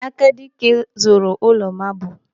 Akadike zụrụ ụlọ maabul.